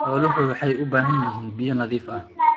Xooluhu waxay u baahan yihiin biyo nadiif ah.